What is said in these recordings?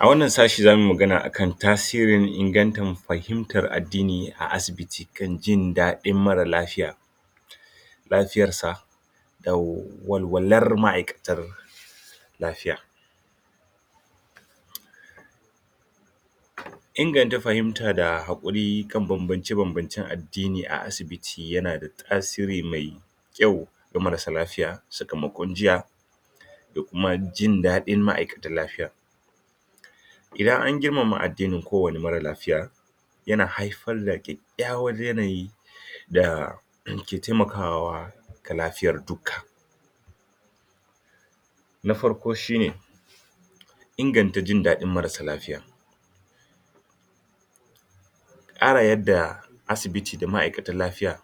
A wannan sashe za mu yi magana a kan tasirin ingantar fahimatar addini a asibiti don jin daɗin marar lafiya. lafiyarsa. walwalar ma'aikatar lafiya. Inganta fahimta da haƙuri kan bambance-bambancen addini a asibiti yana da tasiri mai yawa ga marasa lafiya sakamon jinya da kuma jin dain ma'aikatan lafiya. Idan an girmama addinin kowanne marar lafiya, yana haifar da kyakkyawan yanayi da ke taimaka wa ga lafiyar dukka. Na farko shi ne Inganta jin daɗin marassa lafiya tsara yadda asibiti da ma'aikatan lafiya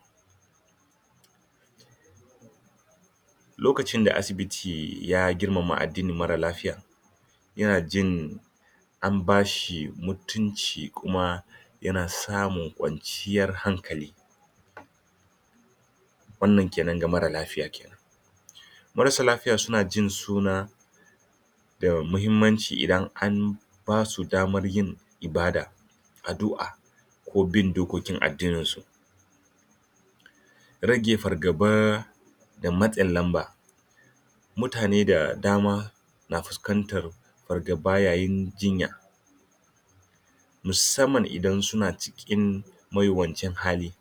Lokacin da asibiti ya girmama addinin marar lafiya. yana jin an ba shi mutunci kuma yana samun kwanciyar hankali. wannan ke nan ga marar lafiya. Mararsa lafiya suna jin suna da muhimmanci idan an idan an basu damar yin ibada. addu'a ki bin dokokin addininsu. Rage fargaba da matsin lamba mtane da dama, na fuskantar fargaba yayin jinya. musamman idan suna cikin mawuyacin hali.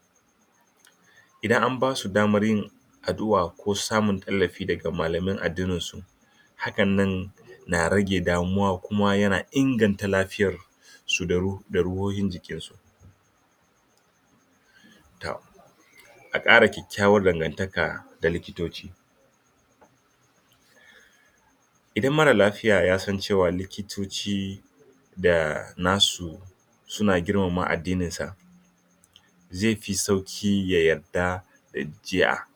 idan an ba su damar yin addu'a ko samuntallafi daga malaman addininsu hakannan na rage damuwa kuma yana inganta lafiyarsu da ruhohin jikinsu. A ƙara kyakkyawan dangantaka da likitoci. Idan marar lafiya ya san cewa likitoci da nasu suna girmama addininsa zai fi sauƙi ya yarda da jinya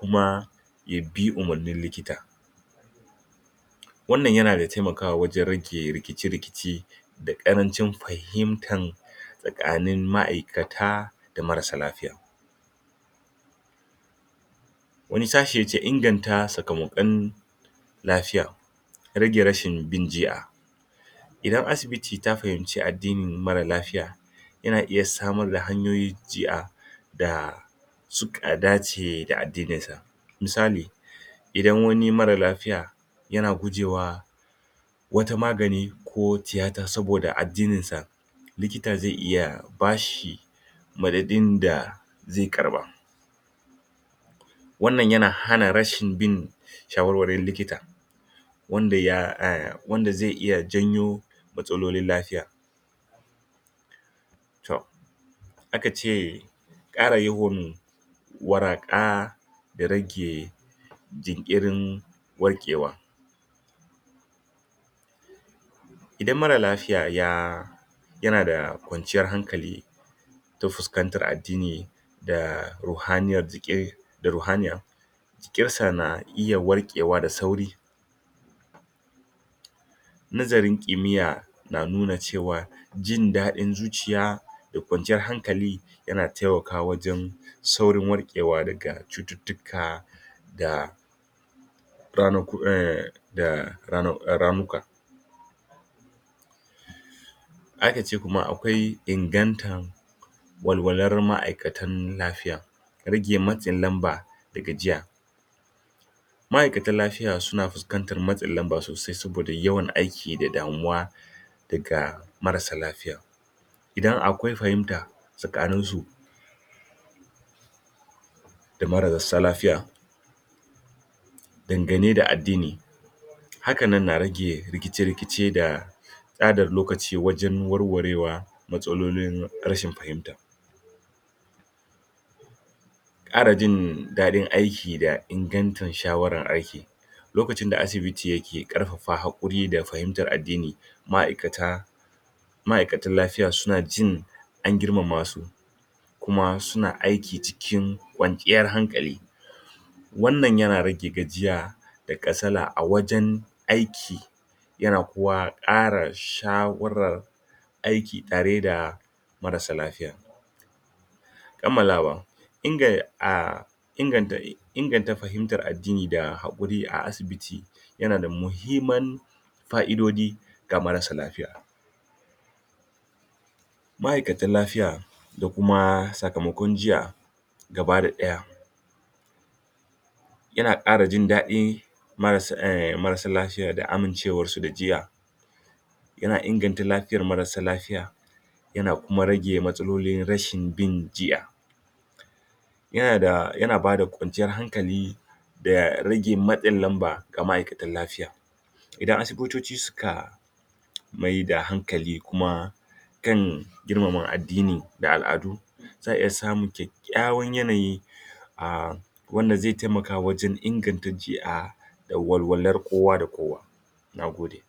kuma ya bi umarnin likita wannan yana taimakawa wajen rage rikice-rikice da ƙarancin fahimtar tsakanin ma'aikata da marar lafiya. wani sashi yake inganta sakamakon lafiya rage rashin jin jinya. Idan asibiti ta faminci addinin marar lafiya, yana iya samar da hanyoyin jinya da suka dace da addininsa. Misali, idan wani marar lafiya yana gujewa, wata magani ko tiyata saboda addininsa likita zai ya ba shi madadin da zai karɓa. wannan yana hana bin shawarwarin likita, wanda ya, wanda zai iya janyo matsalolin lafiya. to aka ce Ƙara yawan waraka ya rage jinkirin warkewa. Idan marar lafiya ya, yana da kwanciyar hankali, ta fuskantar addini da rohaniyyar jiki da ruhuniya jikinsa na iya warkewa da wuri nazarin kimiyya na nuna cewar jin daɗin zuciya da kwanciyar hankali yana taimakawa wajen saurin warkewa daga cututtuka. da um ramuka. Aka ce kuma akwai ingantan walwalar ma'aikatan lafiya rage matsin lamba da gajiya, Ma'aikatan lafiya suna fuskantar matsin lamba sosai saboda yawan aiki da damuwa daga marassa lafiya. idan akwai fahimta tsakaninsu da marassa lafya dangane da addini hakanan na rage rikice-rikice da tsara lokaci wajen warwarewa matsalolin rashin fahimta. ƙara jin daɗin aiki da ingantar shawarar aiki lokacin da asibiti yake ƙarfafan haƙuri da fahimtar addini ma'aikata ma'aikatan lafiya suna jin an girmama su kuma suna aiki cikin kwanciyar hankali wannan yana rage gajiya da kasala a wajen aiki yana kuma ƙara shawarar aiki tar da marassa lafiya. kammalawa um inganta inganta fahimtar addini da haƙuri a asibit yana da muhimman fa'idoji ga marassa lafiya. ma'aikatan lafiya da kuma sakamakon jinya gaba da ɗaya yana ƙara jin daɗi marassa lafiya da amincewarsu da jinya yana inganta lafiyar marassa lafiya yana kuma rage matsalolin rashin bin jinya yana bada kwanciyar hankali da rage matsin lamba ga ma'aikatan lafiya. idan asibitici suka maida hankali kuma kan girmama addini da al'adu za a iya samun kyakkyawan yanayi a wanda zai taimaka wajen inganta jinya da walwalar kowa da kowa na gode.